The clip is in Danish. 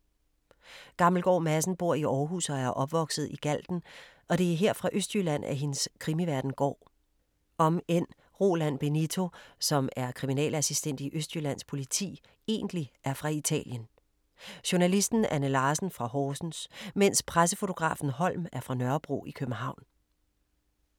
Gammelgaard Madsen bor i Aarhus og er opvokset i Galten og det er her fra Østjylland at hendes krimiverden går. Omend Roland Benito, som er kriminalassistent i Østjyllands Politi egentlig er fra Italien. Journalisten Anne Larsen fra Horsens, mens pressefotografen Holm er fra Nørrebro i København.